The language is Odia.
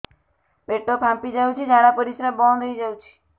ପେଟ ଫାମ୍ପି ଯାଉଛି ଝାଡା ପରିଶ୍ରା ବନ୍ଦ ହେଇ ଯାଉଛି